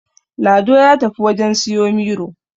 Lado ya tafi wajen siyo Miro